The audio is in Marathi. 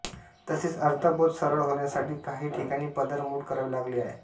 तसेच अर्थबोध सरळ होण्यासाठी काही ठिकाणी पदरमोड करावी लागली आहे